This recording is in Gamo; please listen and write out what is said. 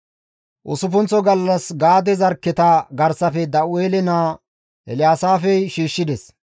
Usuppunththo gallas Gaade zarkketa garsafe Da7u7eele naa Elyaasaafey shiishshides.